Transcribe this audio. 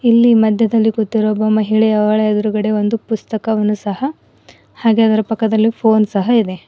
ಇಲ್ಲಿ ಮಧ್ಯದಲ್ಲಿ ಕೂತಿರುವ ಒಬ್ಬ ಮಹಿಳೆ ಅವಳ ಎದ್ರುಗಡೆ ಒಂದು ಪುಸ್ತಕವನ್ನು ಸಹ ಹಾಗೆ ಅದರ ಪಕ್ಕದಲ್ಲಿ ಫೋನ್ ಸಹ ಇದೆ.